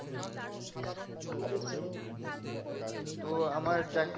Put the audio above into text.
তো আমার চাক